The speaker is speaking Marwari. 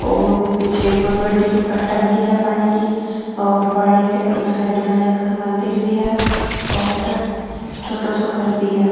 और भी पिछे एक बहुत बड़ी टंकी है पानी की और पानी के ऊ साइड में एक मन्दिर भी है और छोटो सो घर भी है।